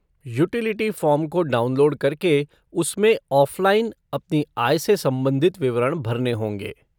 Utility form को download करके उसमें ऑफ़लाइन अपनी आय से संबंधित विवरण भरने होंगे।